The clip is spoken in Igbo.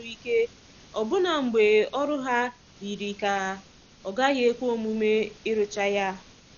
Ha nọgidere n'arụsi ọrụ ike ọbụna mgbe ọrụ ahụ yiri ka ọ gaghị ekwe omume ịrụcha ya.